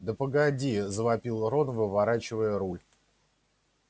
да погоди завопил рон выворачивая руль